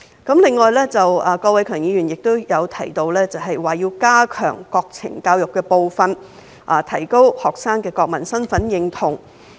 此外，郭偉强議員亦提到，要加強國情教育的部分，提高學生的國民身份認同。